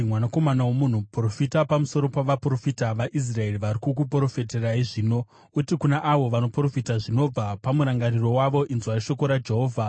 “Mwanakomana womunhu, profita pamusoro pavaprofita vaIsraeri vari kukuprofitirai zvino. Uti kuna avo vanoprofita zvinobva pamurangariro wavo, ‘Inzwai shoko raJehovha!